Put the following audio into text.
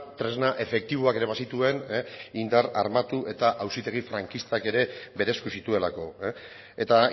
tresna efektiboak ere bazituen indar armatu eta auzitegi frankistak ere bere esku zituelako eta